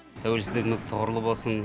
тәуелсіздігіміз тұғырлы болсын